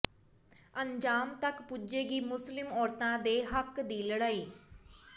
ਅੰਜਾਮ ਤਕ ਪੁੱਜੇਗੀ ਮੁਸਲਿਮ ਔਰਤਾਂ ਦੇ ਹੱਕ ਦੀ ਲੜਾਈ